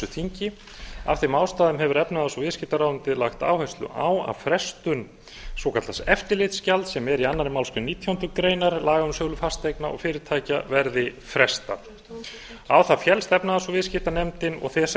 þingi af þeim ástæðum hefur efnahags og viðskiptaráðuneytið lagt áherslu á að frestun svokallaðs eftirlitsgjalds sem er í annarri málsgrein nítjánda grein laga um sölu fasteigna og fyrirtækja verði frestað á það féllst efnahags og viðskiptanefnd og þess